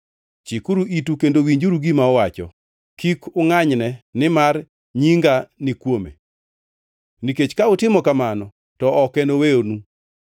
Chikuru itu kendo winjuru gima owacho. Kik ungʼanyne; nimar Nyinga ni kuome, nikech ka utimo kamano to ok enowenu.